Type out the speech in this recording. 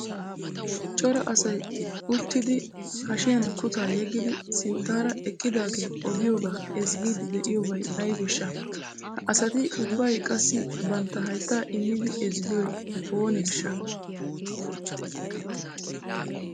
Cora asay issi uttido ba hashshiyan kutaa maayidi sinttaara eqqidaage oodiyooga ezggiidi de'iyoobay aybbeshsha? Ha asati ubbay qassi bantta haytta immidi ezggiyo oonee?